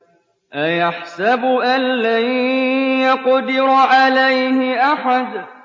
أَيَحْسَبُ أَن لَّن يَقْدِرَ عَلَيْهِ أَحَدٌ